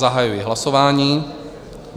Zahajuji hlasování.